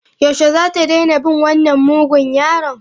Yaushe zata daina bin wannan mugun yaron?